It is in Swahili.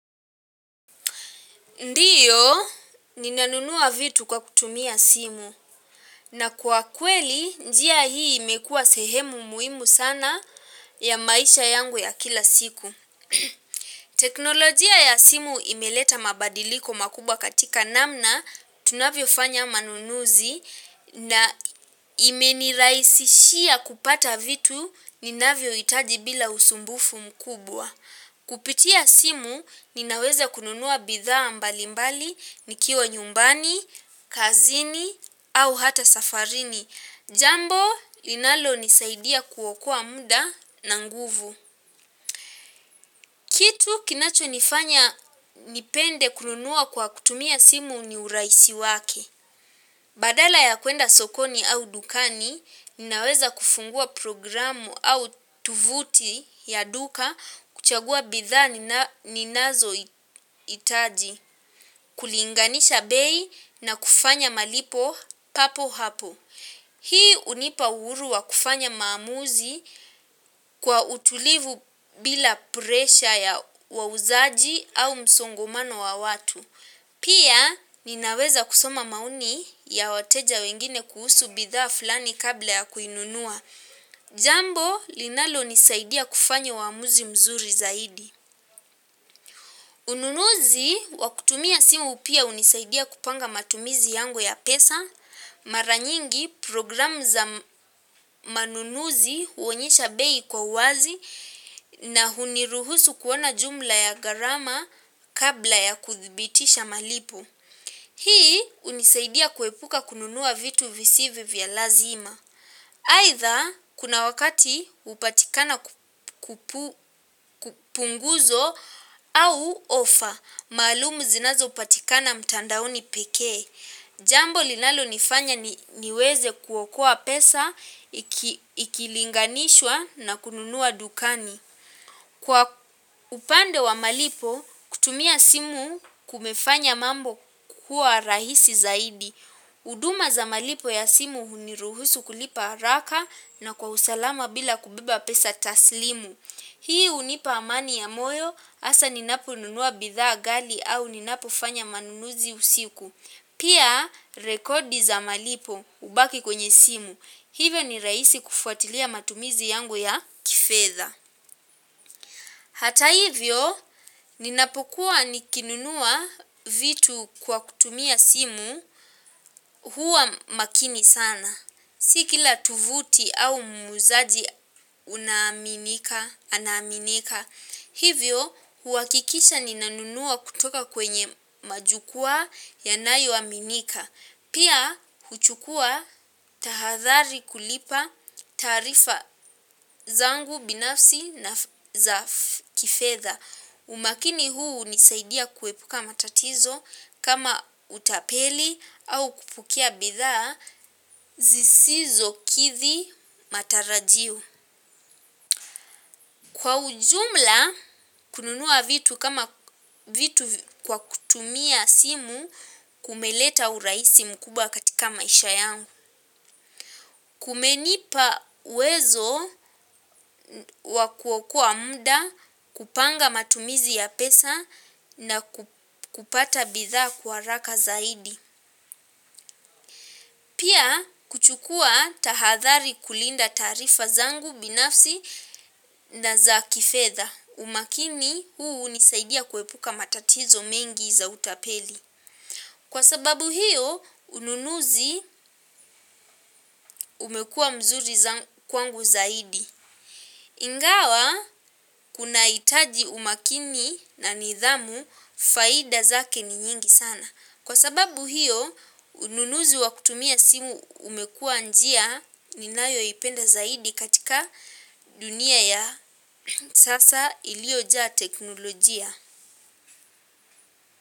Ndiyo ninanunua vitu kwa kutumia simu na kwa kweli njia hii imekuwa sehemu muhimu sana ya maisha yangu ya kila siku. Teknolojia ya simu imeleta mabadiliko makubwa katika namna tunavyofanya manunuzi na imenirahisishia kupata vitu ninavyohitaji bila usumbufu mkubwa. Kupitia simu ninaweza kununua bidhaa mbalimbali nikiwa nyumbani, kazini au hata safarini. Jambo inalonisaidia kuokoa muda na nguvu. Kitu kinachonifanya nipende kununua kwa kutumia simu ni urahisi wake. Badala ya kuenda sokoni au dukani, ninaweza kufungua programu au tuvuti ya duka kuchagua bidhaa ninazohitaji, kulinganisha bei na kufanya malipo papo hapo. Hii hunipa uhuru wa kufanya maamuzi kwa utulivu bila presha ya wauzaji au msongomano wa watu. Pia ninaweza kusoma maoni ya wateja wengine kuhusu bidhaa fulani kabla ya kuinunua. Jambo linalonisaidia kufanya uamuzi mzuri zaidi. Ununuzi wa kutumia simu pia hunisaidia kupanga matumizi yangu ya pesa. Mara nyingi programu za manunuzi huonyesha bei kwa uwazi. Na huniruhusu kuona jumla ya gharama kabla ya kuthibitisha malipo. Hii hunisaidia kuepuka kununua vitu visivyo vya lazima. Aidha kuna wakati hupatikana kupunguzo au ofa maalum zinazopatikana mtandaoni pekee. Jambo linalonifanya niweze kuokoa pesa, ikilinganishwa na kununua dukani. Kwa upande wa malipo, kutumia simu kumefanya mambo kuwa rahisi zaidi. Huduma za malipo ya simu huniruhusu kulipa haraka na kwa usalama bila kubeba pesa taslimu. Hii hunipa amani ya moyo, hasa ninaponunua bidhaa ghali au ninapofanya manunuzi usiku. Pia rekodi za malipo hubaki kwenye simu. Hivyo ni rahisi kufuatilia matumizi yangu ya kifedha. Hata hivyo, ninapokuwa nikinunua vitu kwa kutumia simu huwa makini sana. Si kila tuvuti au muuzaji unaaminika, anaaminika. Hivyo, huhakikisha ninanunua kutoka kwenye majukwaa yanayoaminika. Pia huchukua tahadhari kulipa taarifa zangu binafsi na za kifedha. Umakini huu hunisaidia kuepuka matatizo kama utapeli au kupokea bidhaa zisizokidhi matarajio. Kwa ujumla kununua vitu kama vitu kwa kutumia simu kumeleta urahisi mkubwa katika maisha yangu. Kumenipa uwezo wa kuokoa muda, kupanga matumizi ya pesa na kupata bidhaa kwa haraka zaidi. Pia kuchukua tahadhari kulinda taarifa zangu binafsi na za kifedha. Umakini huu hunisaidia kuepuka matatizo mengi za utapeli. Kwa sababu hiyo ununuzi umekuwa mzuri kwangu zaidi. Ingawa kunahitaji umakini na nidhamu, faida zake ni nyingi sana. Kwa sababu hiyo ununuzi wakutumia simu umekuwa njia ninayoipenda zaidi katika dunia ya sasa iliojaa teknolojia.